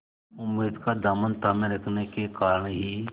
उम्मीद का दामन थामे रखने के कारण ही